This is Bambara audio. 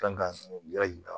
Kan ka yira